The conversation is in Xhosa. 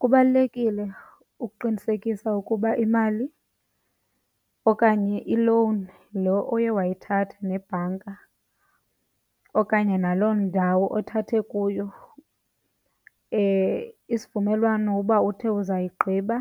Kubalulekile ukuqinisekisa ukuba imali okanye i-loan lo oye wayithatha nebhanka okanye naloo ndawo othathe kuyo isivumelwano uba uthe uzawuyigqiba